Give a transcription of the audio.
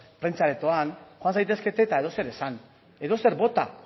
prentsa aretoan joan zaitezkete eta edozer esan edozer bota